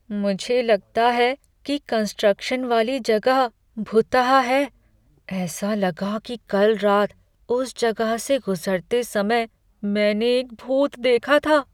मुझे लगता है कि कंस्ट्रक्शन वाली जगह भुतहा है। ऐसा लगा कि कल रात उस जगह से गुजरते समय मैंने एक भूत देखा था।